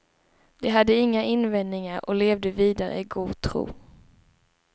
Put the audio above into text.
De hade inga invändningar och levde vidare i god tro.